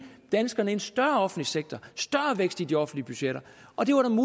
danskerne en større offentlig sektor større vækst i de offentlige budgetter og det